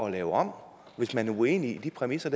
at lave om hvis man er uenig i de præmisser